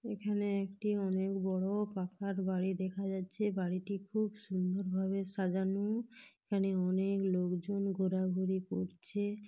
এখানে একটি অনেক বড় পাকার বাড়ি দেখা যাচ্ছে। বাড়িটি খুব সুন্দর ভাবে সাজানো । এখানে অনেক লোকজন ঘোরাঘুরি করছে।